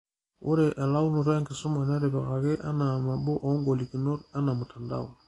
Ore elaunoto enkisuma netipikaki anaa nabo oongolikinotg ena mtandao